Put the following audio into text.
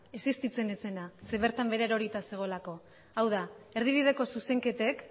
existitzen ez zena zeren eta bertan erorita zegoelako hau da erdibideko zuzenketek